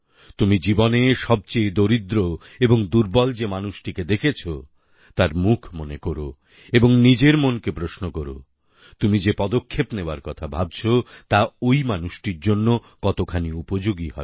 তুমি জীবনে সবচেয়ে দরিদ্র এবং দুর্বল যে মানুষটিকে দেখেছো তার মুখ মনে কোরো এবং নিজের মনকে প্রশ্ন কোরো তুমি যে পদক্ষেপ নেওয়ার কথা ভাবছো তা ঐ মানুষটির জন্য কতখানি উপযোগী হবে